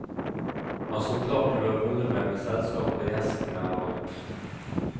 Han står klar til å holde meg med selskap når gjestene har gått.